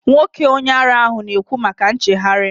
Nwoke onye ara ahụ na ekwu maka nchegharị